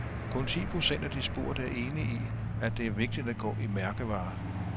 Kun ti procent af de spurgte er enige i, at det er vigtigt at gå i mærkevarer.